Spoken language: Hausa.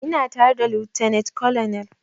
Ina tare da lieutenant colonel